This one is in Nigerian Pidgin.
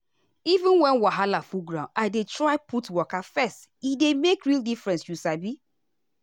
even when wahala full ground i dey dey try put waka first e dey make real difference you sabi.